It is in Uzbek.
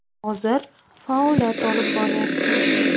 Hozir faoliyat olib boryapti.